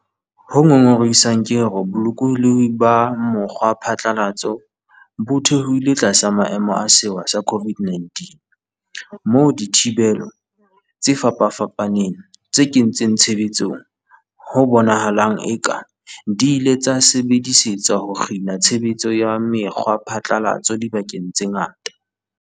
Ho ngongorehisang ke hore bolokolohi ba mokgwaphatla latso bo theohile tlasa maemo a sewa sa COVID-19, moo dithibelo tse fapafapaneng tse kentsweng tshebetsong ho bonahalang e ka di ile tsa sebedisetswa ho kgina tshe betso ya mekgwaphatlalatso dibakeng tse ngata.